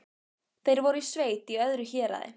Þeir voru í sveit í öðru héraði.